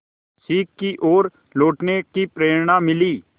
सीख की ओर लौटने की प्रेरणा मिली